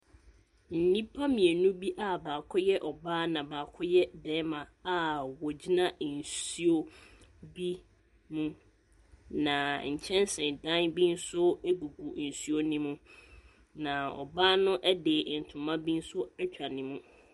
Nipa mmienu bia baako yɛ ɔbaa na baako yɛ barima a ɔgyina nsuo bi hɔn na nkyɛn si dan bi so ɛgu nso no mu na ɔbaa na ɛntoma no ɛtwa ne mu.